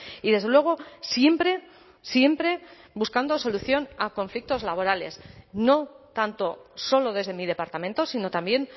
y desde luego siempre siempre buscando solución a conflictos laborales no tanto solo desde mi departamento sino también